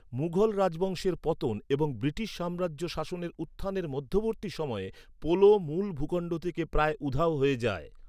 মুঘল রাজবংশের পতন এবং ব্রিটিশ সাম্রাজ্য শাসনের উত্থানের মধ্যবর্তী সময়ে, পোলো মূল ভূখণ্ড থেকে প্রায় উধাও হয়ে যায়।